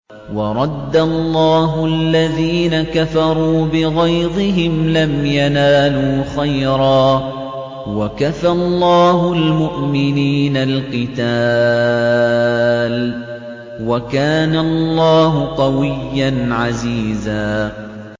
وَرَدَّ اللَّهُ الَّذِينَ كَفَرُوا بِغَيْظِهِمْ لَمْ يَنَالُوا خَيْرًا ۚ وَكَفَى اللَّهُ الْمُؤْمِنِينَ الْقِتَالَ ۚ وَكَانَ اللَّهُ قَوِيًّا عَزِيزًا